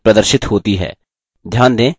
master slide प्रदर्शित होती है